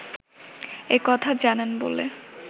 এ কথা জানেন বলে